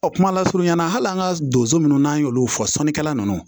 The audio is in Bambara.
kuma lasurunya na hali an ka donso nunnu n'an y'olu fɔ sɔnikɛla ninnu